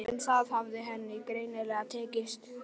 En það hafði henni greinilega tekist